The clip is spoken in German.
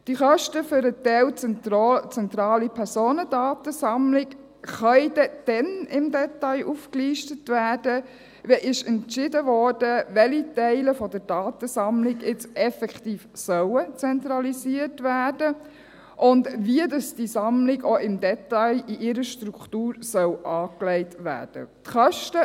Diese Kosten für den Teil der zentralen Personendatensammlung können dann im Detail aufgelistet werden, wenn entschieden wurde, welche Teile der Datensammlungen jetzt effektiv zentralisiert werden sollen und wie diese Sammlung im Detail in ihrer Struktur angelegt werden soll.